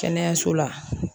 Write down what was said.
Kɛnɛyaso la